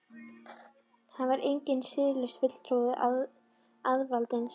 Hann var enginn siðlaus fulltrúi auðvaldsins.